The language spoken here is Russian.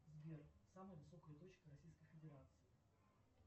сбер самая высокая точка российской федерации